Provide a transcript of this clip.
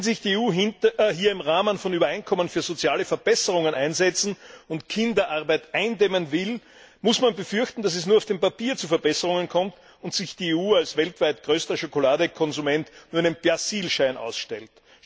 Wenn sich die EU hier im Rahmen von Übereinkommen für soziale Verbesserungen einsetzen und Kinderarbeit eindämmen will, muss man befürchten, dass es nur auf dem Papier zu Verbesserungen kommt und sich die EU als weltweit größter Schokoladekonsument nur einen Persilschein ausstellt.